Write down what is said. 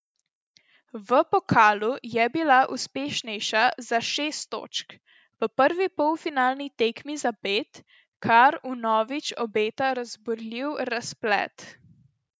V pokalu je bila uspešnejša za šest točk, v prvi polfinalni tekmi za pet, kar vnovič obeta razburljiv razplet.